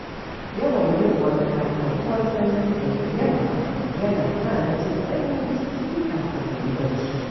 Yawan yin wanka da ruwan sanyi da yamma yana sa ni jin sanyin jiki kafin na yi barci.